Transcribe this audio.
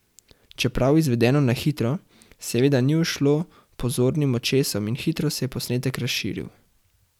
Čeprav izvedeno na hitro, seveda ni ušlo pozornim očesom in hitro se je posnetek razširil.